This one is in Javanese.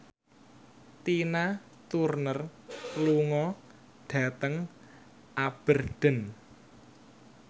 Tina Turner lunga dhateng Aberdeen